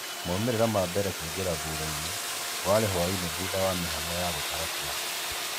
Maumĩrĩra mambirĩe kũĩngĩra thũthaĩnĩ waĩrĩ hwainĩ thũtha wa mĩhang'o ya gũtara kũra